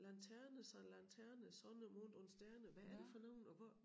Lanterne sådan et eller andet lanterne sonne mond und sterne hvad er det for nogle og hvor